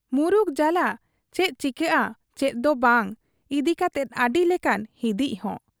ᱢᱩᱨᱩᱠ ᱡᱟᱞᱟ ᱪᱮᱫ ᱪᱤᱠᱟᱹᱜ ᱟ ᱪᱮᱫ ᱫᱚ ᱵᱟᱝ ᱤᱫᱤ ᱠᱟᱛᱮᱫ ᱟᱹᱰᱤ ᱞᱮᱠᱟᱱ ᱦᱤᱫᱤᱡ ᱦᱚᱸ ᱾